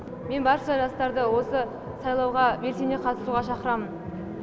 мен барша жастарды осы сайлауға белсене қатысуға шақырамын